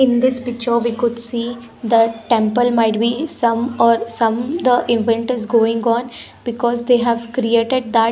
In this picture we could see the temple might be some or some the event is going on because they have created that .